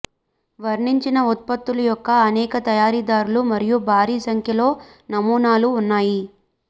వర్ణించిన ఉత్పత్తుల యొక్క అనేక తయారీదారులు మరియు భారీ సంఖ్యలో నమూనాలు ఉన్నాయి